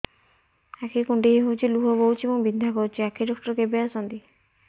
ଆଖି କୁଣ୍ଡେଇ ହେଉଛି ଲୁହ ବହୁଛି ଏବଂ ବିନ୍ଧା କରୁଛି ଆଖି ଡକ୍ଟର କେବେ ଆସନ୍ତି